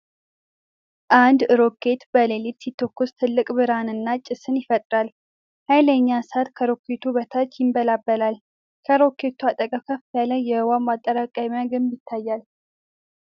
አንድ ሮኬት በሌሊት ሲተኮስ ትልቅ ብርሃንና ጭስ ይፈጥራል። ኃይለኛ እሳት ከሮኬቱ በታች ይንበለበላል። ከሮኬቱ አጠገብ ከፍ ያለ የውኃ ማጠራቀሚያ ግንብ ይታያል።